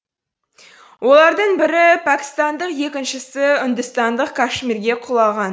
олардың бірі пәкістандық екіншісі үндістандық кашмирге құлаған